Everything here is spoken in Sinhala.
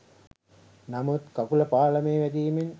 නමුත් කකුළ පාළමේ වැදිමෙන්